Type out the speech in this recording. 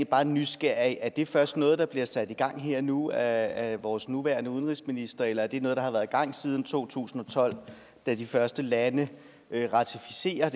bare nysgerrig er det først noget der bliver sat i gang her og nu af vores nuværende udenrigsminister eller er det noget der har været i gang siden to tusind og tolv da de første lande ratificerer